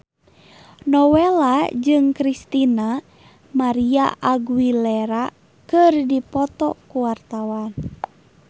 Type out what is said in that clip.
Nowela jeung Christina María Aguilera keur dipoto ku wartawan